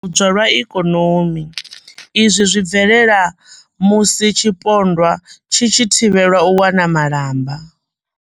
U tambudzwa lwa ikonomi, izwi zwi bvelela musi tshipondwa tshi tshi thivhelwa u wana malamba.